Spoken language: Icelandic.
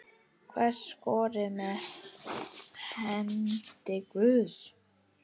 Hver skoraði með hendi guðs?